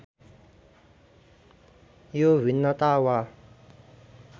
यो भिन्नता वा